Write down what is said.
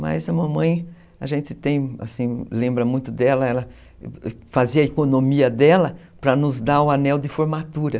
Mas a mamãe, a gente tem, assim, lembra muito dela, ela fazia a economia dela para nos dar o anel de formatura.